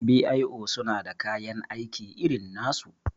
b.i.o suna da kayan aiki irin nasu